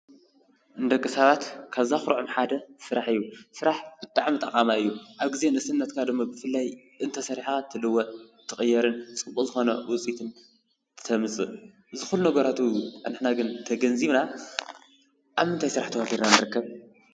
ንደቂ ሰባት ካብ ዘኩርዖም ሓደ ስራሕ እዩ ስራሕ ብጣዕሚ ጠቓማይ እዩ። ኣብ ግዜ ንእስነትካ ድማ ብፍላይ እንተሰሪሕኻ ትልወጥን ትቕየርን ፅቡቕ ዝኾነ ውፅኢትን ተምፅእ። እዚ ኩሉ ነገራት ውን ንሕና ግን ተገንዚብና ኣብ ምንታይ ስራሕ ተዋፊርና ንርከብ?